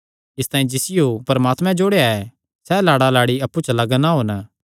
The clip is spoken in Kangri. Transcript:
इसतांई जिसियो परमात्मैं जोड़या ऐ सैह़ लाड़ालाड़ी अप्पु च लग्ग ना होन